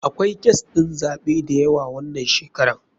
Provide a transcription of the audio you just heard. Akwai kes ɗin zaɓe dayawa wanan shekaran.